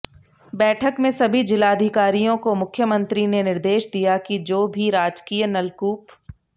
बैठक में सभी जिलाधिकारियों को मुख्यमंत्री ने निर्देष दिया कि जो भी राजकीय नलकूप